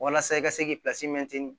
Walasa i ka se k'i mɛn ten